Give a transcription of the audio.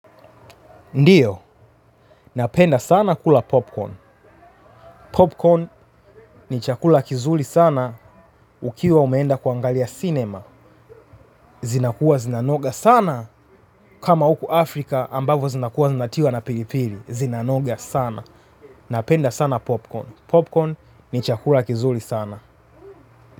Ndiyo, napenda sana kula popcorn. Popcorn ni chakula kizuri sana ukiwa umeenda kuangalia sinema. Zinakua zinanoga sana kama juku Afrika ambavyo zinakua zinatiwa na pilipili. Zinanoga sana. Napenda sana popcorn. Popcorn ni chakula kizuli sana.